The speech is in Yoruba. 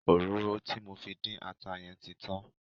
Òróró tí mo fi dín ata yẹn ti tan.